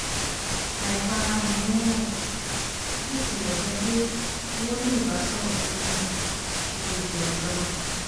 àìfarahàn wọn hàn bí ó tilẹ̀ jẹ́ pé wọ́n ní ìbánisọ̀rọ̀ tó gún kó to di ọjọ́ náà